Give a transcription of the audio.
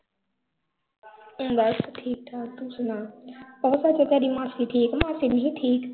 ਬਸ ਠੀਕ-ਠਾਕ ਤੂੰ ਸੁਣਾ ਉਹ ਸਚ ਤੇਰੀ ਮਾਸੀ ਠੀਕ, ਮਾਸੀ ਨੀ ਸੀ ਠੀਕ?